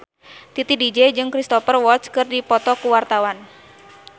Titi DJ jeung Cristhoper Waltz keur dipoto ku wartawan